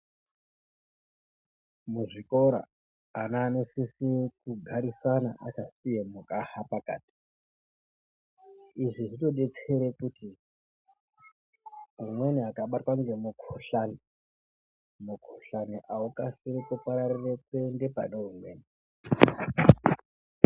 Muzvikora vana anosisire kugarisana akasiya mukaha pakati izvi zvinodetsere kuti umweni akabatwa ngemukohlani mukuhlani akusiri kuparirire kuenda pane umweni.